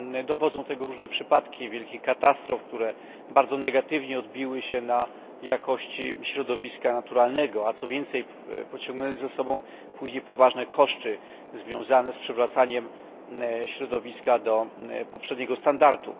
Dowodzą tego różne przypadki wielkich katastrof, które bardzo negatywnie odbiły się na jakości środowiska naturalnego, a co więcej pociągnęły za sobą później poważne koszty związane z przywracaniem środowiska do poprzedniego stanu.